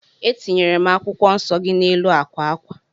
Etinyere m akwụkwọ nsọ gị n'elu akwa akwa